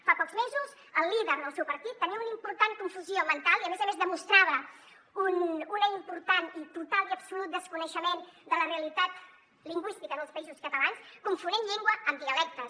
fa pocs mesos el líder del seu partit tenia una important confusió mental i a més a més demostrava un important i total i absolut desconeixement de la realitat lingüística dels països catalans confonent llengua amb dialectes